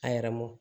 A yɛrɛ mɔ